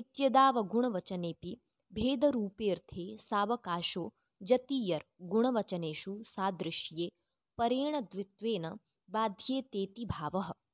इत्यदावगुणवचनेऽपि भेदरूपेऽर्थे सावकाशो जतीयर् गुणवचनेषु सादृस्ये परेण द्वित्वेन बाध्येतेति भावः